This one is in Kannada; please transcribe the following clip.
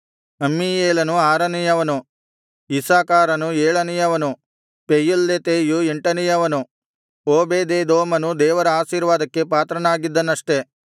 ಅಮ್ಮೀಯೇಲನು ಆರನೆಯವನು ಇಸ್ಸಾಕಾರನು ಏಳನೆಯವನು ಪೆಯುಲ್ಲೆತೈಯು ಎಂಟನೆಯವನು ಓಬೇದೆದೋಮನು ದೇವರ ಆಶೀರ್ವಾದಕ್ಕೆ ಪಾತ್ರನಾಗಿದ್ದನಷ್ಟೆ